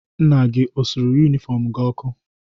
Nna gị o suru yunifọmụ ọkụ?